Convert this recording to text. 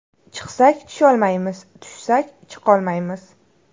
Chiqsak tusholmaymiz, tushsak chiqolmaymiz.